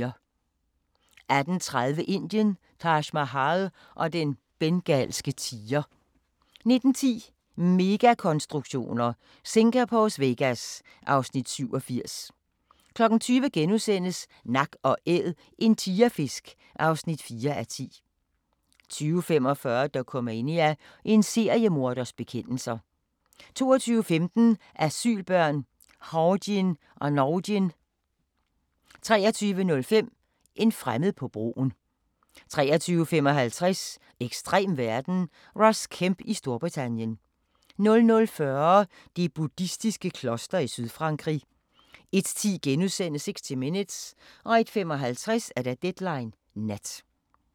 18:30: Indien – Taj Mahal og den bengalske tiger 19:10: Megakonstruktioner: Singapores Vegas (Afs. 87) 20:00: Nak & Æd – en tigerfisk (4:10)* 20:45: Dokumania: En seriemorders bekendelser 22:15: Asylbørn – Hawjin og Nawjin 23:05: En fremmed på broen 23:55: Ekstrem verden – Ross Kemp i Storbritannien 00:40: Det buddhistiske kloster i Sydfrankrig 01:10: 60 Minutes * 01:55: Deadline Nat